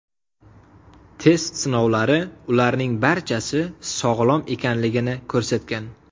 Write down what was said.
Test sinovlari ularning barchasi sog‘lom ekanligini ko‘rsatgan.